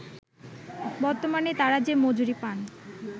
বর্তমানে তারা যে মজুরি পান